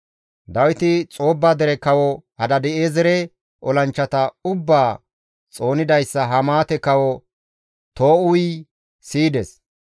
Dawiti Xoobba dere Kawo Hadaadi7eezere olanchchata ubbaa xoonidayssa Hamaate kawo Too7uyi siyides.